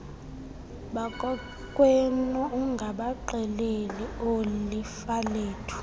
bakokwenu ungabaxeleli oolifalethu